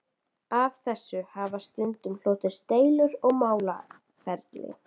Af þessu hafa stundum hlotist deilur og málaferli.